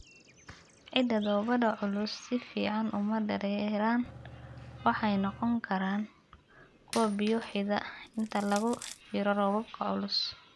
Ciidda dhoobada culusi si fiican uma dareeraan waxayna noqon karaan kuwo biyo xidha inta lagu jiro roobabka culus.